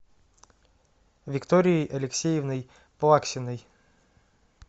викторией алексеевной плаксиной